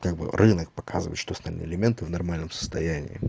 как бы рынок показывает что остальные элементы в нормальном состоянии